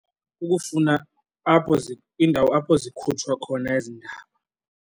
Ukufuna apho indawo apho zikhutshwa khona ezi ndaba.